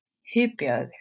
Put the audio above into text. Hypjaðu þig.